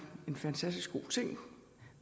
en fantastisk god ting